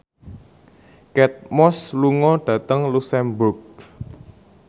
Kate Moss lunga dhateng luxemburg